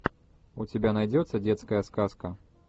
у тебя найдется детская сказка